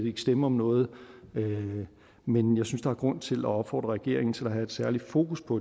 ikke stemme om noget men men jeg synes der er grund til at opfordre regeringen til at have et særligt fokus på